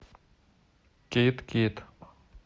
кидд кидд